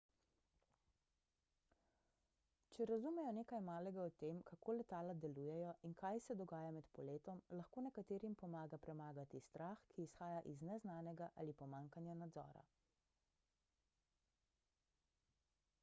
če razumejo nekaj malega o tem kako letala delujejo in kaj se dogaja med poletom lahko nekaterim pomaga premagati strah ki izhaja iz neznanega ali pomanjkanja nadzora